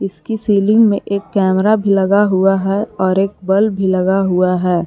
इसकी सीलिंग में एक कैमरा लगा हुआ है और एक बल्ब लगा हुआ है।